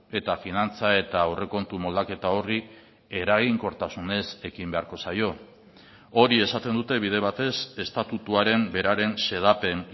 eta finantza eta aurrekontu moldaketa horri eraginkortasunez ekin beharko zaio hori esaten dute bide batez estatutuaren beraren xedapen